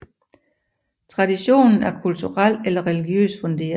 Traditionen er kulturel eller religiøst funderet